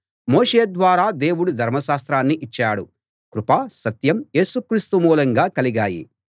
మోషే ద్వారా దేవుడు ధర్మశాస్త్రాన్ని ఇచ్చాడు కృప సత్యం యేసు క్రీస్తు మూలంగా కలిగాయి